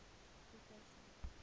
pieterse